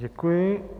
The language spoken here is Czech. Děkuji.